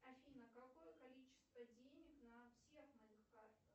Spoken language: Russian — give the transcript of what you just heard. афина какое количество денег на всех моих картах